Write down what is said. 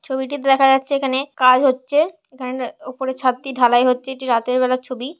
ছবিটি দেখা যাচ্ছে এখানে কাজ হচ্ছে। এখানে উপরে ছাদটি ঢালাই হচ্ছে। এটি রাতের বেলার ছবি।